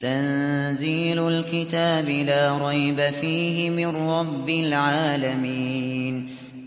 تَنزِيلُ الْكِتَابِ لَا رَيْبَ فِيهِ مِن رَّبِّ الْعَالَمِينَ